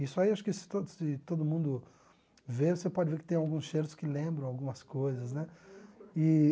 Isso aí, acho que se todo se todo mundo ver, você pode ver que tem alguns cheiros que lembram algumas coisas né eee